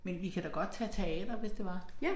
Men vi kan da godt tage teater hvis det var